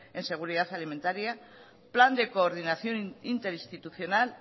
en seguridad alimentaria plan de coordinación interinstitucional